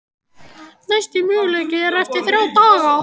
Næsti möguleiki er eftir þrjá daga.